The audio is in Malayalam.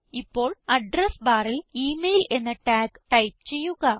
ഇപ്പോൾ അഡ്രസ് ബാറിൽ ഇമെയിൽ എന്ന ടാഗ് ടൈപ്പ് ചെയ്യുക